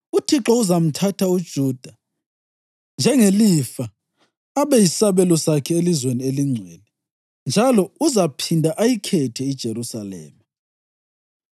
UThixo uzamthatha uJuda njengelifa abe yisabelo sakhe elizweni elingcwele njalo uzaphinda ayikhethe iJerusalema.